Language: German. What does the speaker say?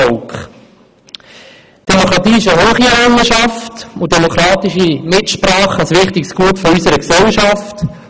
Die Demokratie ist eine hohe Errungenschaft und demokratische Mitsprache ein wichtiges Gut unserer Gesellschaft.